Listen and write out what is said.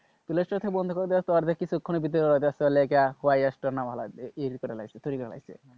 play Store বন্ধ করে দেওয়ার কিছুক্ষণের ভেতরে তৈরি করে ফেলেছে,